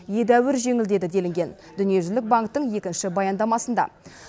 едәуір жеңілдеді делінген дүниежүзілік банктің екінші баяндамасында